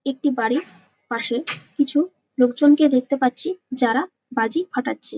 একটি বাড়ি পাশে কিছু লোকজনকে দেখতে পাচ্ছি যারা বাজি ফাটাচ্ছে ।